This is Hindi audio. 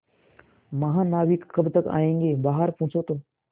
महानाविक कब तक आयेंगे बाहर पूछो तो